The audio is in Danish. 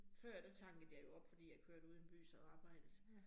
Før der tankede jeg jo op fordi jeg kørte ud i en by så arbejdet